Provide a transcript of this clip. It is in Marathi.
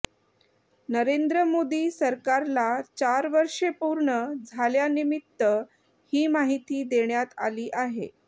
नरेंद्र मोदी सरकारला चार वर्षे पूर्ण झाल्यानिमित्त ही माहिती देण्यात आली आहे